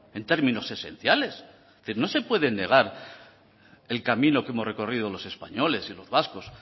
en términos esenciales que no se puede negar el camino que hemos recorrido los españoles y los vascos